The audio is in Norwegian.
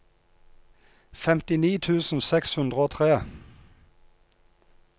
femtini tusen seks hundre og tre